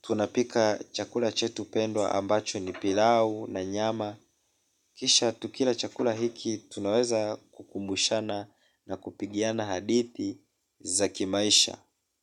tunapika chakula chetu pendwa ambacho ni pilau na nyama. Kisha tukila chakula hiki tunaweza kukumbushana na kupigiana hadithi za kimaisha.